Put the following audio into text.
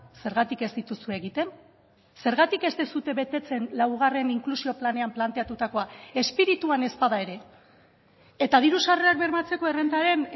zergatik ez dituzue egiten zergatik ez duzue betetzen laugarren inklusio planean planteatutakoa espirituan ez bada ere eta diru sarrerak bermatzeko errentaren